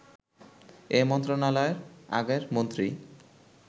এ মন্ত্রণালয়ের আগের মন্ত্রী